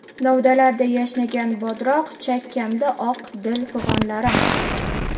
Novdalarda yashnagan bodroq, Chakkamda oq, dil fig‘onlarim.